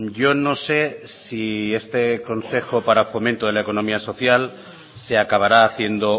yo no se si este consejo para fomento de la economía social se acabará haciendo